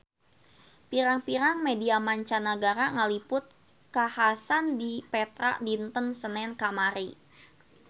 Pirang-pirang media mancanagara ngaliput kakhasan di Petra dinten Senen kamari